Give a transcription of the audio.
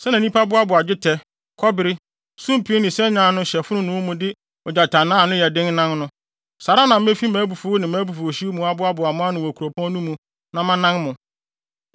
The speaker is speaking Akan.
Sɛnea nnipa boaboa dwetɛ, kɔbere, sumpii ne sanyaa ano hyɛ fononoo mu de ogyatannaa a ano yɛ den nan no, saa ara na mefi mʼabufuw ne mʼabufuwhyew mu aboaboa mo ano wɔ kuropɔn no mu na manan mo.